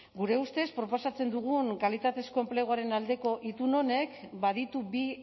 gure ustez proposatzen dugun kalitatezko enpleguaren aldeko itun honek baditu bi